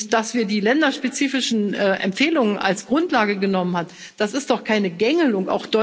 Dass wir die länderspezifischen Empfehlungen als Grundlage genommen haben, ist doch keine Gängelung!